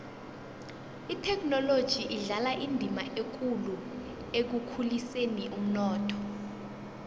ithekhinoloji idlala indima ekulu ekukhuliseni umnotho